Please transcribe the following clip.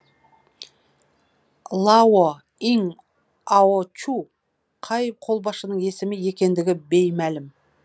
лао иң аочу қай қолбасшының есімі екендігі беймәлім